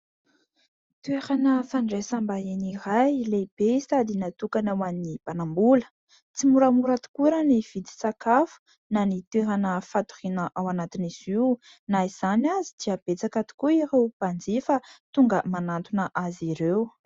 Toerana fandraisam-bahiny iray lehibe sady natokana ho an'ny mpanambola ; tsy moramora tokoa raha ny vidin-tsakafo na ny toerana fatoriana ao anatin'izy io na izany aza dia betsaka tokoa ireo mpanjifa tonga manantona azy ireo.